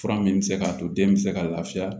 Fura min bɛ se k'a to den bɛ se ka laafiya